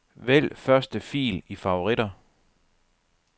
Vælg første fil i favoritter.